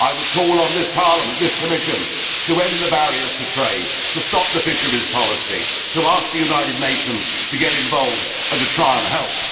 I would call on this Parliament, this Commission to end the barriers to trade, to stop the fisheries policy, to ask the United Nations to get involved and to try and help.